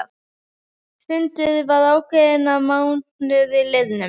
Fundur var ákveðinn að mánuði liðnum.